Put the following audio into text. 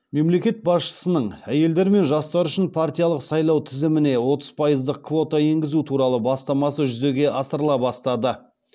мемлекет басшысының әйелдер мен жастар үшін партиялық сайлау тізіміне отыз пайыздық квота енгізу туралы бастамасы жүзеге асырыла бастады